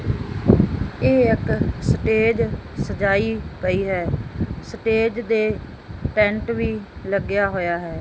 ਇਹ ਇੱਕ ਸਟੇਜ ਸਜਾਈ ਪਈ ਹੈ ਸਟੇਜ ਦੇ ਪੈਂਟ ਵੀ ਲੱਗਿਆ ਹੋਇਆ ਹੈ।